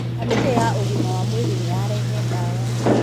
Kamĩtĩya ũgima wa mwĩrĩnĩyarehe dawa.